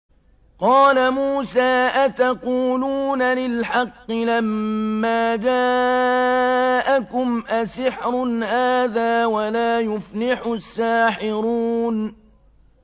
قَالَ مُوسَىٰ أَتَقُولُونَ لِلْحَقِّ لَمَّا جَاءَكُمْ ۖ أَسِحْرٌ هَٰذَا وَلَا يُفْلِحُ السَّاحِرُونَ